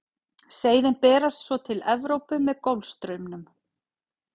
seiðin berast svo til evrópu með golfstraumnum